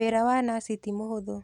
Wĩra wa nathi ti mũhũthũ.